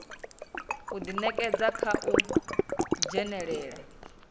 u ḓinekedza kha u dzhenelela